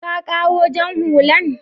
ka ƙawo jan hullan?